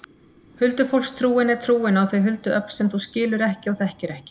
Huldufólkstrúin er trúin á þau huldu öfl sem þú skilur ekki og þekkir ekki.